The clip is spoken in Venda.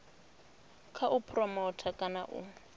kha u phuromotha kana u